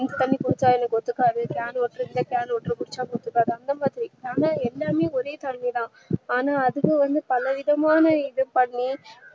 mix பண்ணி கொடுத்தா எனக்கு ஒத்துக்காது can water இருந்தா can water ஒத்துக்காது அந்தமாதிரி ஆனா எல்லாமே ஒரே தண்ணீதா ஆனா அதுலே வந்து பலவிதமான இது பண்ணி